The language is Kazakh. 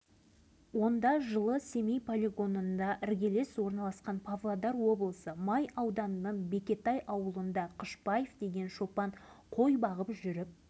жатқан семей полигонының үстін басып өтуге тура келген даладан сутегі бомбасын тауып алғандығы жайында айтыпты